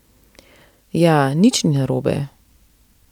Ja, nič ni narobe.